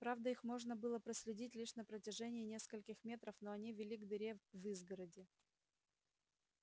правда их можно было проследить лишь на протяжении нескольких метров но они вели к дыре в изгороди